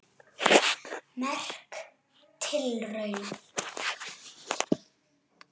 Merk tilraun